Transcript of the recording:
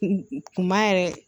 Kunba yɛrɛ